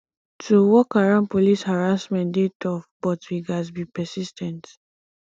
to work around police harassment dey tough but we gats be persis ten t